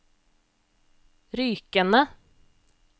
Rykene